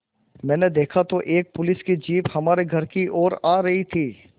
मैंने देखा तो एक पुलिस की जीप हमारे घर की ओर आ रही थी